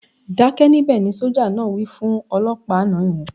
"Dákẹ́ níbẹ̀", ni sójà náà wí fún olọ́pàá àná yẹn